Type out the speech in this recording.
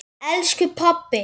elsku pabbi.